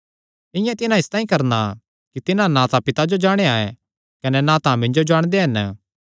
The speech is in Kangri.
इआं तिन्हां इसतांई करणा कि तिन्हां ना तां पिता जो जाणेया ऐ कने ना तां मिन्जो जाणदे हन